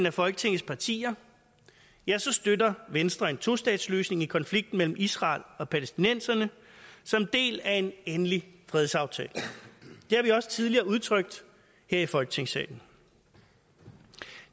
af folketingets partier støtter venstre en tostatsløsning i konflikten mellem israel og palæstinenserne som del af en endelig fredsaftale det har vi også tidligere udtrykt her i folketingssalen